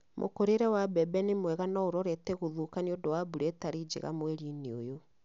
Mũkũrĩre wa mbembe nĩmwega no ũrorete gũthũka nĩũndu wa mbura ĩtari njega mweri-inĩ ũyũ